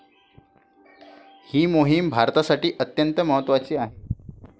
ही मोहिम भारतासाठी अत्यंत महत्वाची आहे.